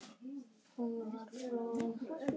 Hún var flúin.